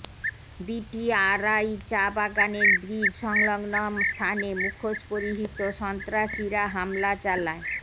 BTRI চা বাগানের bridge সংলগ্ন স্থানে মুখোশ পরিহিত সন্ত্রাসীরা হামলা চালায়